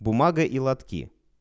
бумага и лотки